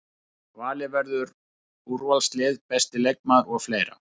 Valið verður úrvalslið, besti leikmaður og fleira.